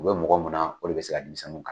O be mɔgɔ mun na o de bi se ka denmisɛnninw kalan